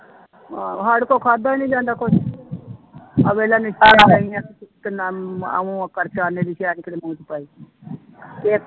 ਹਾਂ ਸਾਡੇ ਕੋਲੋਂ ਖਾਧਾ ਹੀ ਨੀ ਜਾਂਦਾ ਕੁਛ ਤੇ ਤੇ ਇੱਕ